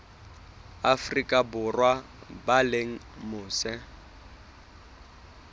afrika borwa ba leng mose